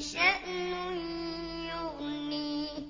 شَأْنٌ يُغْنِيهِ